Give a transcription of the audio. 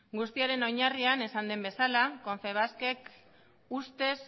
guztiaren oinarrian esan den bezala konfebasken ustez